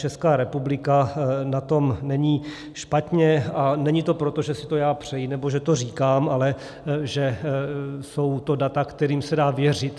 Česká republika na tom není špatně, a není to proto, že si to já přeji nebo že to říkám, ale že jsou to data, kterým se dá věřit.